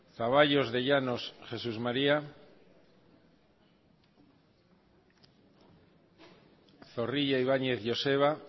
zaballos de llanos jesús maría zorrilla ibañez joseba